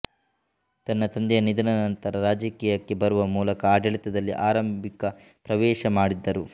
ತನ್ನ ತಂದೆಯ ನಿಧನದ ನಂತರ ರಾಜಕೀಯಕ್ಕೆ ಬರುವ ಮೂಲಕ ಆಡಳಿತದಲ್ಲಿ ಆರಂಭಿಕ ಪ್ರವೇಶ ಮಾಡಿದ್ದರು